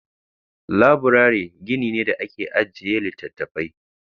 Laburare gini ne da ake ajiye littattafai.